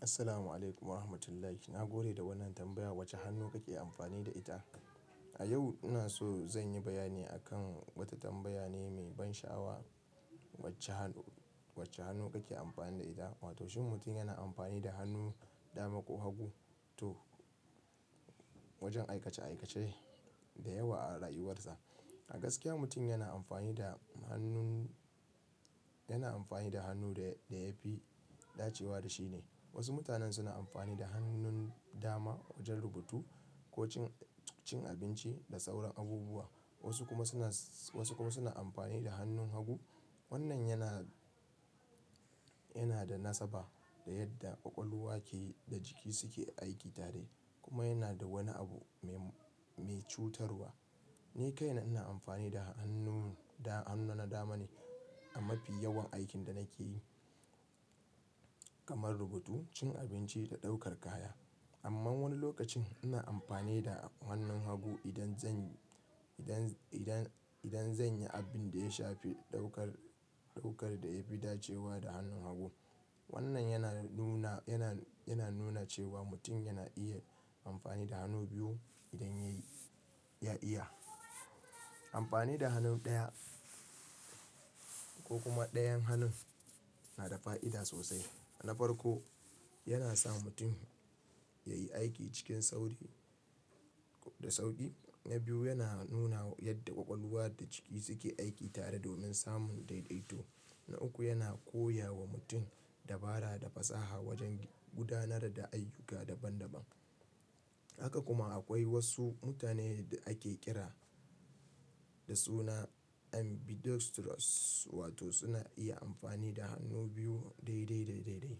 Assalamu alaikum wa rahmatullahi. Na gode da wannan tambaya. Wace hannu kake amfani da ita? A yau ina so zan yi bayani akan wata tambaya ne mai ban sha'awa. Wace hannu, wace hannu kake amfani da ita? Wato shin mutum yana amfani da hannun dama ko hagu? To wajen aikace aikace da yawa a rayuwarsa. A gaskiya mutum yana amfani da hannun, yana amfani da hannu da da ya fi dacewa da shi ne. Wasu mutanen suna amfani da hannun dama wajen rubutu ko cin, cin abinci da sauran abubuwa. Wasu kuma suna, wasu kuma suna amfani da hannun hagu. Wannan yana, yana da nasaba da yadda ƙwaƙwalwa ke da jiki suke aiki tare kuma yana da wani abu mai, mai cutarwa. Ni kaina ina amfani da hannun da, hannuna dama ne a mafi yawan aikin da nake yi kamar rubutu, cin abinci da ɗaukar kaya. Amma wani lokacin ina amfani da hannun hagu idan zan, idan, idan, idan zan yi abin da ya shafi ɗaukar, ɗaukar da ya fi dacewa da hannun hagu. Wannan yana nuna, yana, yana nuna cewa mutum yana iya amfani da hannu biyu idan ya yi, ya iya. Amfani da hannu ɗaya ko kuma ɗayan hannun na da fa'ida sosai. Na farko, yana sa mutum ya yi aiki cikin sauri da sauƙi. Na biyu, yana nuna yadda ƙwaƙwalwa da jiki suke aiki tare domin samun daidaito. Na uku, yana koya wa mutum dabara da fasaha wajen gudanar da ayyuka daban daban. Haka kuma akwai wasu mutane da ake kira da suna ambidextrous wato suna iya amfani da hannu biyu daidai, daidai, daidai.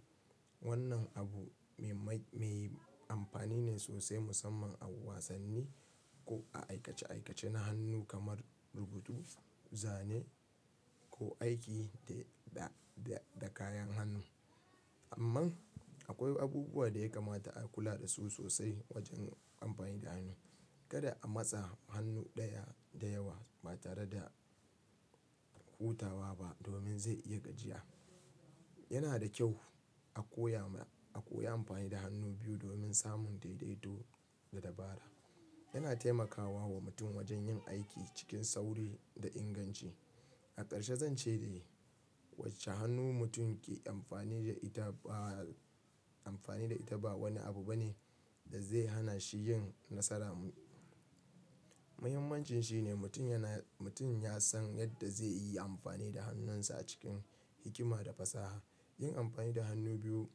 Wannan abu mai, mai amfani ne sosai musamman a wasanni ko a aikace aikace na hannu kamar rubutu, zane ko aiki da, da kayan hannu. Amma akwai abubuwa da ya kamata a kula da su sosai wajen amfani da hannu. Kada a matsa hannu ɗaya da yawa ba tare da hutawa ba domin zai iya gajiya. Yana da kyau a koya, a koyi amfani da hannu biyu domin samun daidaito da dabara. Yana taimakawa wa mutum wajen yin aiki cikin sauri da inganci. A karshe zan ce dai wace hannu mutum ke amfani da ita ba, amfani da ita ba wani abu bane da zai hana shi yin nasara. Muhimmancin shi ne mutum yana, mutum ya san yadda zai yi amfani da hannunsa a cikin hikima da fasaha. Yin amfani da hannu biyu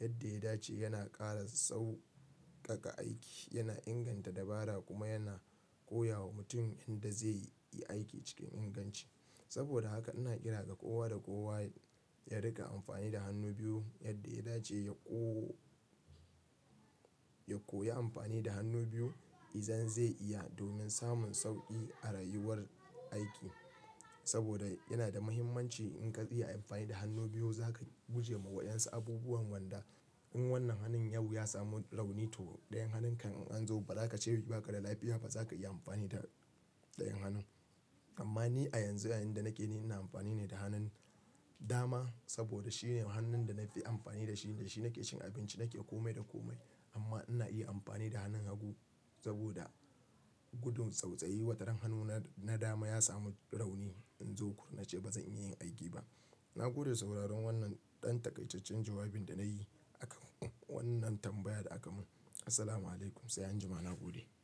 yadda ya dace yana ƙara sauƙaƙa aiki, yana inganta dabara kuma yana koya wa mutum yadda zai yi aiki cikin inganci. Saboda haka ina kira ga kowa da kowa ya riƙa amfani da hannu biyu yadda ya dace ya ko, ya koyi amfani da hannu biyu idan zai iya domin samun sauƙi a rayuwar aiki. Saboda yana da muhimmanci in ka iya amfani da hannu biyu za ka guje ma wa'yansu abubuwan ganda. In wannan hannun yau ya samu rauni to ɗayan hannun kan an zo ba za ka ce ba ka da lafiya ba. Ba za ka iya amfani da ɗayan hannun. Amma ni a yanzu yayin da nake ni ina amfani ne da hannun dama saboda shine hannun da na fi amfani da shi. Da shi nake cin abinci, nake kome da kome. Amma ina iya amfani da hannun hagu saboda gudun tsautsayi. Wataran hannuna na dama ya samu rauni in zo ku nace ba zan iya yin aiki ba. Na gode sauraron wannan ɗan takaitaccen jawabin da na yi akan wannan tambayar da aka mun. Assalamu alaikum. Sai anjima na gode.